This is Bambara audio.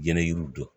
Jɛnɛ yiriw dɔn